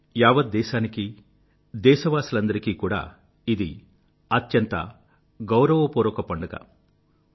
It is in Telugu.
యావత్ దేశానికీ దేశవాసులందరికీ కూడా ఇది అత్యంత గౌరవపూర్వక పండుగలాంటిది